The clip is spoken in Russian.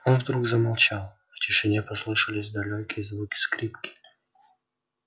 он вдруг замолчал в тишине послышались далёкие звуки скрипки